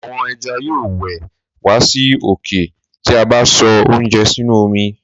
àwọn ẹja yóò wẹ̀ wá sí òkè ti a bá sọ oúnjẹ sínú omi.